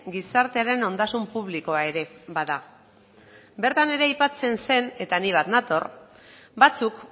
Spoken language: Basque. gizartearen ondasun publikoa ere bada bertan ere aipatzen zen eta nik bat nator batzuk